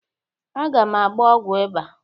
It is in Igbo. Aga m agba ọgwọ ịba.